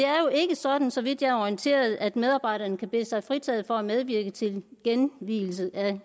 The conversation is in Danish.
er jo ikke sådan så vidt jeg er orienteret at medarbejderne kan bede sig fritaget for at medvirke til genvielse af